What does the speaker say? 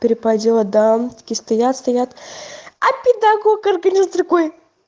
перепадёт дамки стоят стоят а педагог-организатор такой